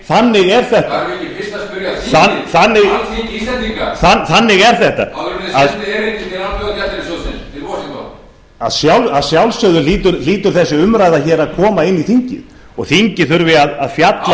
þannig er þetta þarf ekki fyrst að spyrja þingið alþingi íslendinga þannig er þetta áður en sent er erindi til alþjóðagjaldeyrissjóðsins í washington að sjálfsögðu hlýtur þessi umræða að koma inn í þingið og þingið þarf að fjalla